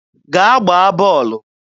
Gaa gbaa bọọlụ!